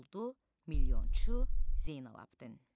Oldu milyonçu Zeynalabidin.